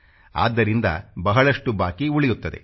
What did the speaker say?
ಆದ್ದರಿಂದ ಬಹಳಷ್ಟು ಬಾಕಿ ಉಳಿಯುತ್ತದೆ